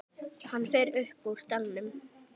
Hann fer upp úr dalnum.